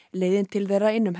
leiðin til þeirra inn um